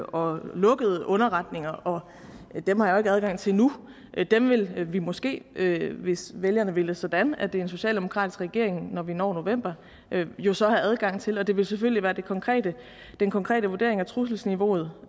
og lukkede underretninger og dem har jeg adgang til nu dem vil vi måske hvis vælgerne vil det sådan at der er en socialdemokratisk regering når vi når november jo så have adgang til og det vil selvfølgelig være den konkrete den konkrete vurdering af trusselsniveauet